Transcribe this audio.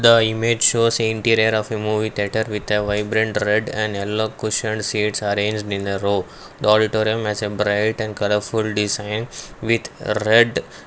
the image shows a interior of a movie theatre with a vibrant red and yellow cuisined seats arranged in the row the auditorium as a bright and colourful design with red--